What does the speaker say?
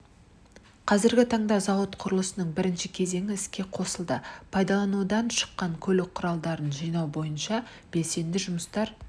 қазіргі таңда зауыт құрылысының бірінші кезеңі іске қосылды пайдаланудан шыққан көлік құралдарын жинау бойынша белсенді жұмыстар